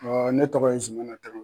ne tɔgɔ ye Zumana Tara